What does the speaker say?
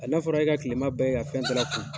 N'a fɔra e ka kilema bɛɛ kɛ ka fɛn kun